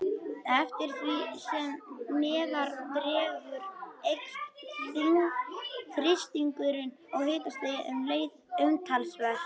Eftir því sem neðar dregur eykst þrýstingurinn og hitastigið um leið umtalsvert.